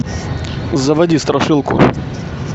заводи страшилку